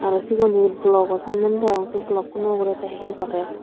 aa segun he blogo sanney degong sey blogkuno ugurey tey hi gorer.